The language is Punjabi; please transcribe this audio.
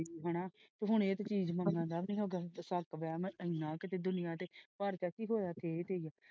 ,